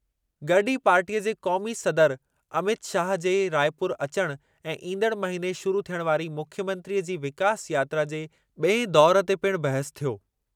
गॾु ई पार्टीअ जे क़ौमी सदर अमित शाह जे रायपुर अचणु ऐं ईंदड़ु महिने शुरु थियण वारी मुख्यमंत्रीअ जी विकास यात्रा जे ॿिएं दौरु ते पिणु बहसु थी।